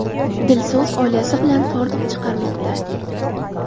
Dilso‘z oilasi bilan hordiq chiqarmoqda.